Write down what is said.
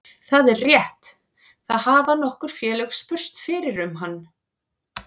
Það er rétt, það hafa nokkur félög spurst fyrir um hann.